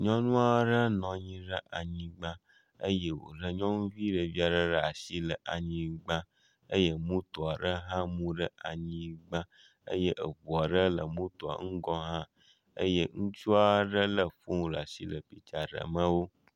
Nyɔnu aɖe nɔ anyi ɖe anyigba eye wòle nyɔnuvi ɖevi aɖe ɖe anyigba eye moto aɖe hã mu ɖe anyigba. Eye eŋu aɖe le motoa ƒe ŋgɔ hã eye ŋutsu aɖe lé asi le piktsa ɖem wo.